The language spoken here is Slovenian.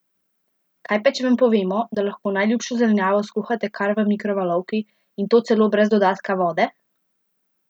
Kaj pa če vam povemo, da lahko najljubšo zelenjavo skuhate kar v mikrovalovki, in to celo brez dodatka vode?